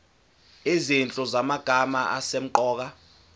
izinhlu zamagama asemqoka